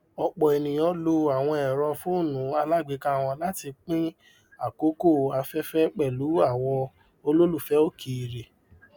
ọpọ ènìyàn lò àwọn èrò fónú alágbèéká wọn láti pín àkókò afẹfẹ pẹlú àwọn olólùfẹ òkèèrè